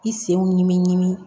I senw ɲinini